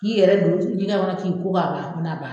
K'i yɛrɛ don ɲigɛ kɔnɔ k'i ko k'a ban n'a ban